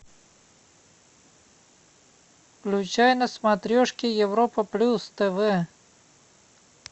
включай на смотрешке европа плюс тв